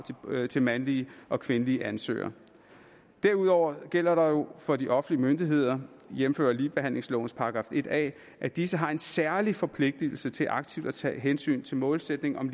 til mandlige og kvindelige ansøgere derudover gælder der jo for de offentlige myndigheder jævnfør ligebehandlingslovens § en a at disse har en særlig forpligtelse til aktivt at tage hensyn til målsætningen om